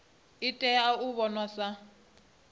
i tea u vhonwa sa